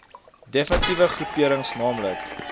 defnitiewe groeperings naamlik